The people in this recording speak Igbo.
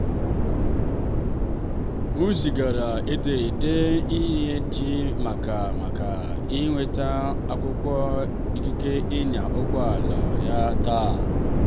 m zigara ederede iji kelee ya maka inweta akwụkwọ ikike ịnya ụgbọ ala ya taa.